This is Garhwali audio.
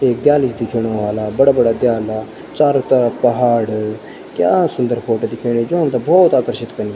एक दयाली सि दिखेणु वाला बड़ा बड़ा दयाला चारों तरफ पहाड़ क्या सुन्दर फोटो दिखेणी जो हमथे भौत आकर्षित कनीं।